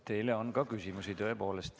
Teile on tõepoolest ka küsimusi.